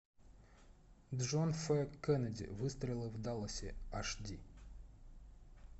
джон ф кеннеди выстрелы в далласе аш ди